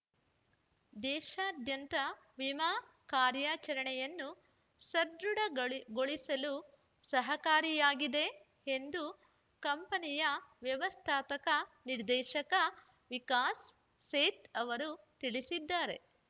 ದೇಶದಾದ್ಯಂತ ವಿಮಾ ಕಾರ್ಯಾಚರಣೆಯನ್ನು ಸದೃಢಗೊಳಿಸಲು ಸಹಕಾರಿಯಾಗಿದೆ ಎಂದು ಕಂಪನಿಯ ವ್ಯವಸ್ಥಾತಕ ನಿರ್ದೇಶಕ ವಿಕಾಸ್ ಸೇಥ್ ಅವರು ತಿಳಿಸಿದ್ದಾರೆ